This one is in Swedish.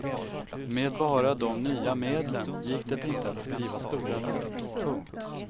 Med bara de nya medlen gick det inte att skriva stora verk. punkt